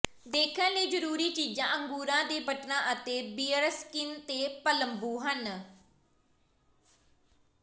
ਦੇਖਣ ਲਈ ਜ਼ਰੂਰੀ ਚੀਜ਼ਾਂ ਅੰਗੂਰਾਂ ਦੇ ਬਟਨਾਂ ਅਤੇ ਬੀਅਰਸਕਿਨ ਤੇ ਪਲੰਬੂ ਹਨ